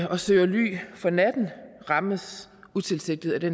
og søger ly for natten rammes utilsigtet af det